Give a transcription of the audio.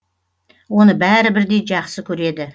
оны бәрі бірдей жақсы көреді